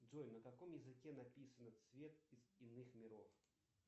джой на каком языке написано цвет из иных миров